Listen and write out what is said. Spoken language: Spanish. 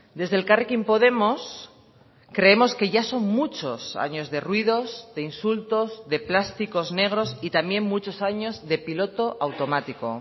desde elkarrekin podemos creemos que ya son muchos años de ruidos de insultos de plásticos negros y también muchos años de piloto automático